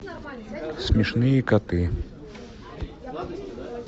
смешные коты